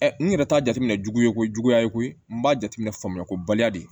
n yɛrɛ t'a jateminɛ jugu ye ko juguya ye koyi n b'a jateminɛ famuyako baliya de ye